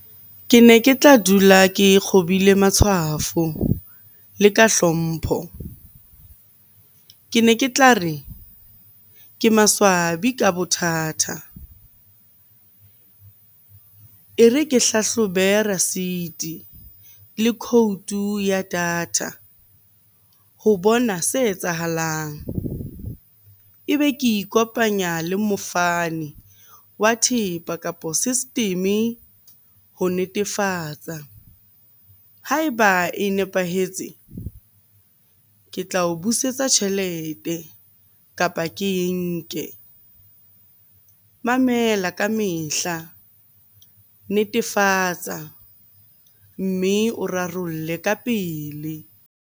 Ke ne ke tla dula ke kgobile matshwafo le ka hlompho. Ke ne ke tla re, ke maswabi ka bothatha. E re ke hlahlobe receipt le code ya data ho bona se etsahalang. Ebe ke ikopanya le mofani wa thepa, kapo system-e ho netefatsa. Ha eba e nepahetse, ke tla o busetsa tjhelete kapa ke nke. Mamela ka mehla, netefatsa mme o rarolle ka pele.